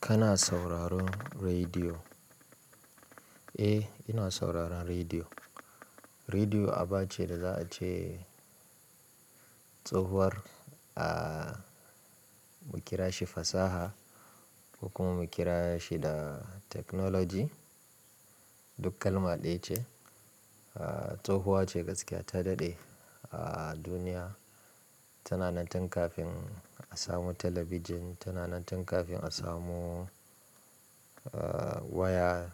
Kana sauraron rediyo? Eh, ina sauraron rediyo. Rediyo aba ce da za a ce tsohuwar a mu kira shi fasaha kuma mu kira shi da technology, duk kalma ɗaya ce. Tsohuwa ce gaskiya ta daɗe a duniya. Tana nan tun kafin a samu talabijin, tana nan tun kafin a samu waya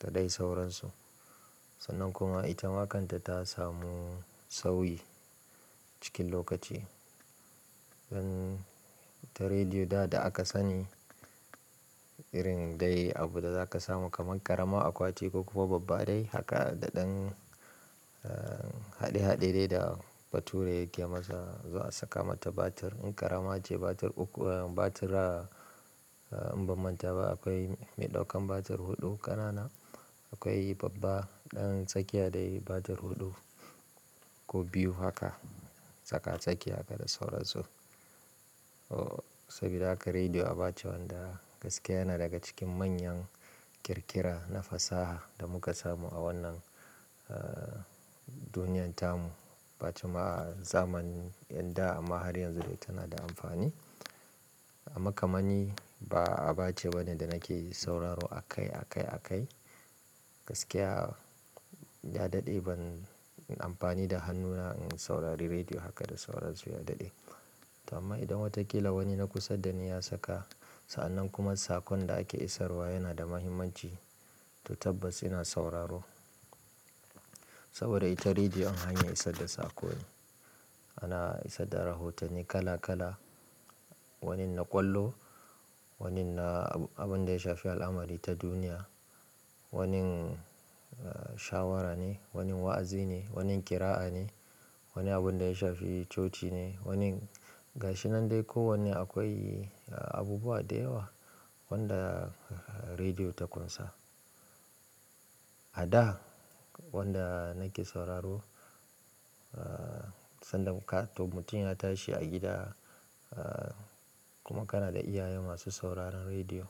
da dai sauransu. Sannan kuma ita makanta ta samu sauyi cikin lokaci. Don ta rediyo da da aka sani irin dai abu da za ka samu kamar ƙarama, akwati ko kuma babba dai. Haka da ɗan haɗe-haɗe de da bature yake masa, za a saka mata batir. In ƙarama ce batir uku, batira in ba manta ba akwai mai ɗaukan batir huɗu ƙanana. Akwai babba ɗan tsakiya dai batir huɗu ko biyu haka tsaka tsakiya haka da sauransu. Sabida haka rediyo aba ce wanda gaskiya yana daga cikin manyan ƙirƙira na fasaha da muka samu a wannan duniyar tamu. Ba cimma zamanin yadda amma har yanzu dai tana da amfani. Amma kamani ba aba ce bane da nake sauraro a kai a kai a kai. Gaskiya ya daɗe ban amfani da hannuna in saurari rediyo haka da sauransu ya daɗe. To amma idan watakila wani na kusa da ni ya saka, sa'an nan kuma sakon da ake isarwa yana da mahimmanci, to tabbas ina sauraro. Saboda ita rediyo hanyar isar da sakone. Ana isar da rahotanni kala kala. Wanin na ƙwallo, wanin na abun da ya shafi al'amari ta duniya, wanin shawara ne, wanin wa'azi ne, wanin kira'a ne, wani abun da ya shafi coci ne, wanin ga shi nan dai kowane akwai abubuwa da yawa wanda rediyo ta ƙunsa. A da wanda nake sauraro, sanda muka to mutum ya tashi a gida kuma kana da iyaye masu sauraron rediyo.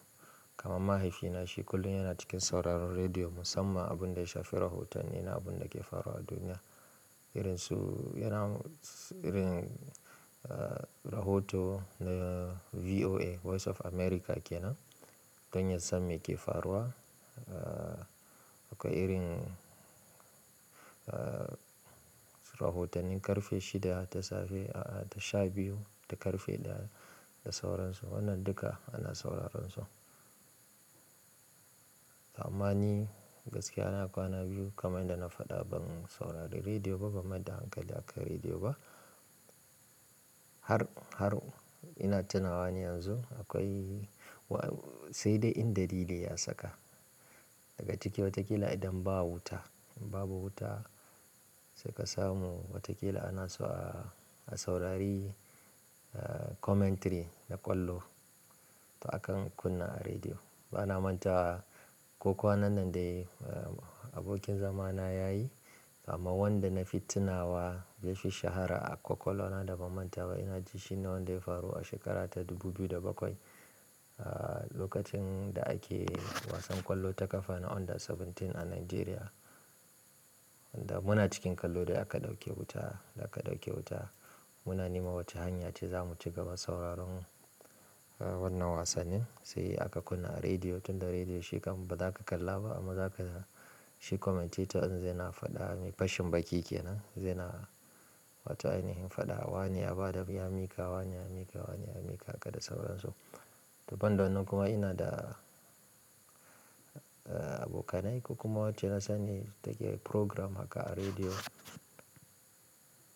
Kaman mahaifina shi kullum yana cikin sauraron rediyo musamman abun da ya shafi rahotanni na abun da ke faruwa a duniya. Irin su yana irin rahoto na VOA, Voice of America ke nan, don yasan me ke faruwa. Akwai irin rahotannin ƙarfe shida ta safe a da sha biyu da ƙarfe ɗaya da sauransu. Wannan duka ana sauraron su. Amma ni gaskiya na kwana biyu kamar yanda na faɗa ban saurari rediyo ba, ban mai da hankali akan rediyo ba. Har, har ina tunawa ni yanzu akwai sai dai indalili ya saka. Daga ciki watakila idan ba wuta, in babu wuta sai ka samu watakila ana so a saurari commentary na ƙwallo. To akan kunna a rediyo. Bana manta ko kwanan nan dai abokin zama na yayi, amma wanda na fi tunawa yafi shahara a ƙwaƙwalwa na da ban manta ba. Ina ji shi ne wanda ya faru a shekara ta 2007. Lokacin da ake wasan ƙwallo ta ƙafa na under 17 a Najeriya. Da muna cikin kallo da aka ɗauke wuta, da aka ɗauke wuta. Muna nema wace hanya ce za mu ci gaba sauraron wannan wasannin. Sai aka kunna a rediyo, tunda rediyo shikam ba za ka kalla ba amma za ka ji shi commentator zai na faɗa, mai fashin baki ke nan, zai na wato ainihin faɗa. Wane ya ba da, ya miƙa, wane ya miƙa, wane ya miƙa haka da sauransu. To banda wannan nan kuma ina da abokanai ko kuma wacce na sani take program haka a rediyo.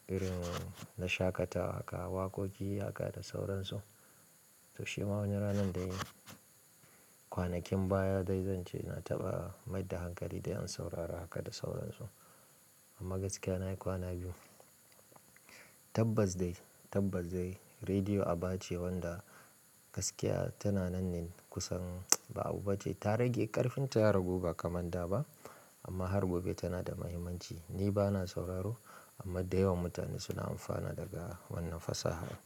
Irin na shaƙatawa haka, waƙoƙi haka da sauran su. To shi ma wani ranan dai kwanakin baya dai zan ce na taɓa mai da hankali dai in saurara haka da sauran su. Amma gaskiya na yi kwana biyu. Tabbas dai, tabbas dai rediyo aba ce wanda gaskiya tana nan ne kusan ba abu bace. Ta rage ƙarfin ta ya ragu ba kamar da ba. Amma har gobe tana da mahimmanci. Ni ba na sauraro amma da yawan mutane suna amfana daga wannan fasaha.